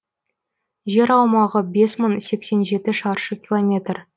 жер аумағы бес мың жеті шаршы километр